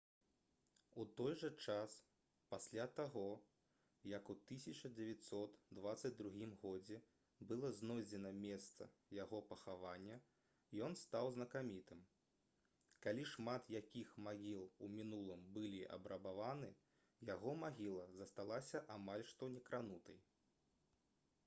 у той жа час пасля таго як у 1922 г было знойдзена месца яго пахавання ён стаў знакамітым калі шмат якіх магіл у мінулым былі абрабаваны яго магіла засталася амаль што некранутай